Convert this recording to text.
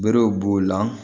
Berew b'o la